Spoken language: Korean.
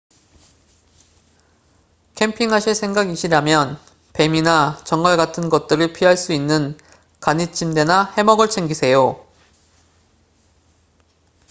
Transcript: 캠핑하실 생각이시라면 뱀이나 전갈 같은 것들을 피할 수 있는 간이침대나 해먹을 챙기세요